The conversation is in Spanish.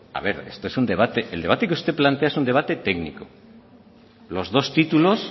a ver el debate que usted plantea es un debate técnico los dos títulos